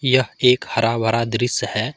यह एक हरा भरा दृश्य है।